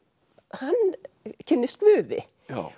hann kynnist Guði